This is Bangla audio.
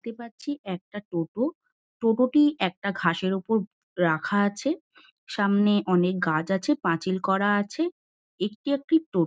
দেখতে পাচ্ছি একটা টোটো। টোটোটি একটা ঘাসের ওপর রাখা আছে। সামনে অনেক গাছ আছে। পাঁচিল করা আছে। একটি একটি টো--